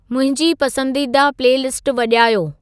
मुंहिंजी पसंददीदा प्लेलिस्टु वॼायो